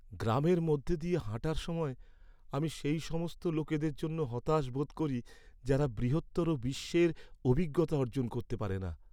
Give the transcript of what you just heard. গ্রামের মধ্যে দিয়ে হাঁটার সময়, আমি সেই সমস্ত লোকদের জন্য হতাশ বোধ করি যারা বৃহত্তর বিশ্বের অভিজ্ঞতা অর্জন করতে পারে না।